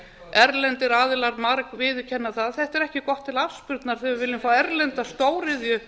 erlendir aðilar margviðurkennt það þetta er ekki gott til afspurnar þegar við viljum fá erlenda stóriðju